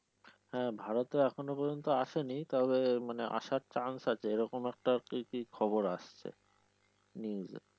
হ্যা ভারতে এখনো পর্যন্ত আসেনি তবে মানে আসার চান্স আছে এরকম একটা কি কি খবর আসছে news এ